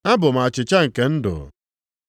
Abụ m achịcha nke ndụ.